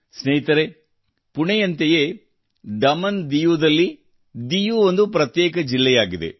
ಸ್ನೇಹಿತರೇ ಪುಣೆಯಂತೆಯೇ ದಮನ್ಡಿಯುದಲ್ಲಿ ಡಿಯು ಒಂದು ಪ್ರತ್ಯೇಕ ಜಿಲ್ಲೆಯಾಗಿದೆ